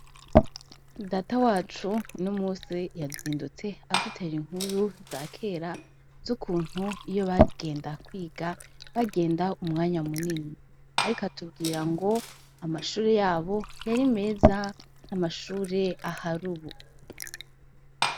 Data wacu uyu munsi yazindutse adutera inkuru za kera zukuntu iyo bagenda kwiga bagenda umwanya munini ariko atubwira ngo amashuri yabo yari meza amashuri ahari ubu.